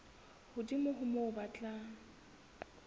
hodimo ho moo ba tla